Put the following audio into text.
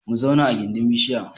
Mu zauna gindin bishiya